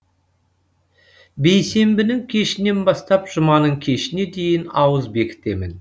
бейсенбінің кешінен бастап жұманың кешіне дейін ауыз бекітемін